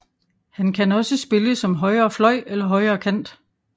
Han kan også spille som højrefløj eller højrekant